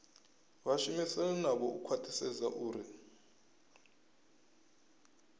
vhashumisani navho u khwathisedza uri